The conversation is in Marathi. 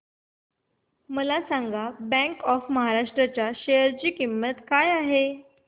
मला सांगा बँक ऑफ महाराष्ट्र च्या शेअर ची किंमत काय आहे